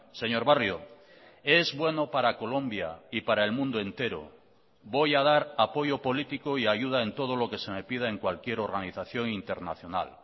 señor barrio es bueno para colombia y para el mundo entero voy a dar apoyo político y ayuda en todo lo que se me pida en cualquier organización internacional